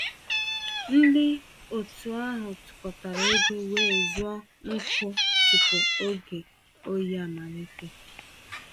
Ndị otu ahụ tụkọtara égo wéé zụọ nkụ tupu oge oyi amalite.